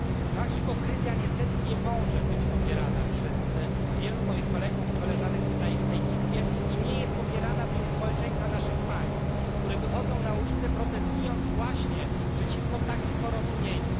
Ta hipokryzja niestety nie może być popierana przez wielu moich kolegów i koleżanek tutaj w tej Izbie, i nie jest popierana przez społeczeństwa naszych państw, społeczeństwa, które wychodzą na ulice, protestując właśnie przeciwko takim porozumieniom.